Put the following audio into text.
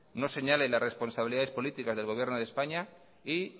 no señale la responsabilidades políticas del gobierno de españa y